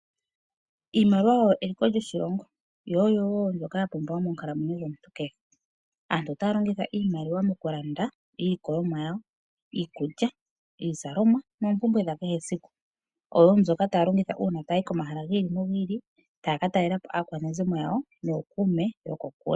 Iimaliwa oyo eliko lyoshilongo yo oyo woo mbyoka yapumbiwa monkalamwenyo dhomuntu kehe. Aantu otaya longitha iimaliwa mokulanda iilikolomwa yawo, iikulya, iizalomwa noompumbwe dhakeshe esiku oyo mbyoka haya longitha uuna taya yi komahala gi ili nogi ili taya katalelapo aakwanezimo yawo nookuume yokokule.